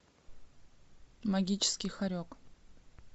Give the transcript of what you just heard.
магический хорек